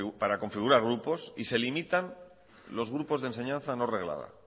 para configurar grupos y se limitan los grupos de enseñanza no reglada